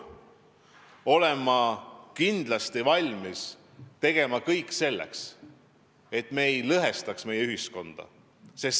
Ma olen kindlasti valmis tegema kõik selleks, et me ei lõhestaks meie ühiskonda.